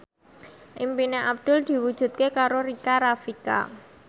impine Abdul diwujudke karo Rika Rafika